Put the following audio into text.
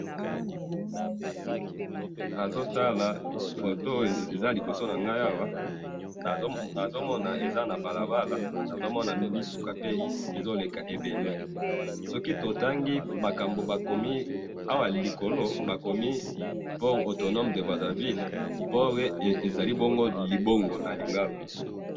nazotala photo oyo eza liboso nangai awa, nazomona eza na balabala, nazomona mituka pe ezoleka ebele, soki totangi makambo bakomi awa likolo, bakomi port autonome de Brazza Ville, port ezali bongo libongo na lingala